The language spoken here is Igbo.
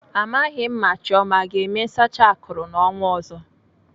Amaghị m ma Chioma ọ ga-eme nsacha akụrụ n'ọnwa ọzọ.